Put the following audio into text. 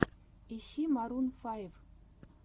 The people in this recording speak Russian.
ищи марун файв